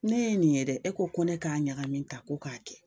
Ne ye nin ye dɛ e ko ko ne k'a ɲagami tan ko k'a kɛ,